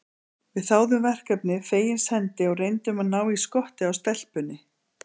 Við þáðum verkefnið fegins hendi og reyndum að ná í skottið á stelpunni.